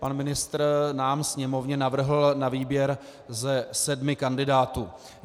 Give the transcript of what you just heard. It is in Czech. Pan ministr nám, Sněmovně, navrhl na výběr ze sedmi kandidátů.